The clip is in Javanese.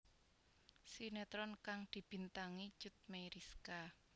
Sinetron kang dibintangi Cut Meyriska